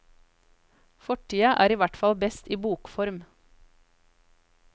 Fortida er ihvertfall best i bokform.